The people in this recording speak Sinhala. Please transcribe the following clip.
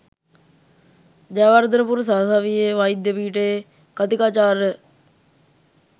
ජයවර්ධනපුර සරසවියේ වෛද්‍ය පීඨයේ කථිකාචාර්ය